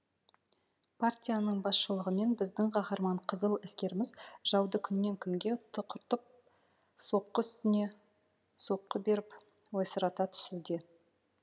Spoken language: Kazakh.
партияның басшылығымен біздің қаһарман қызыл әскеріміз жауды күннен күнге тұқыртып соққы үстіне соққы беріп ойсырата түсуде